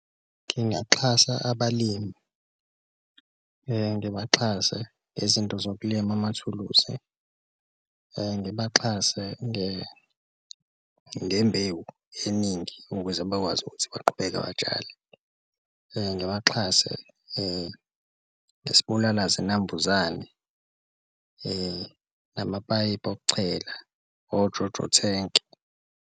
Ngingaxhasa abalimi ngibaxhasa ngezinto zokulima amathuluzi, ngibaxhase ngembewu eningi ukuze bakwazi ukuthi baqhubeke batshale, ngibaxhase ngesibulala zinambuzane, namapayipi okuchela, oJoJo thenki.